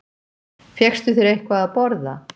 Fékkstu þér eitthvað að borða?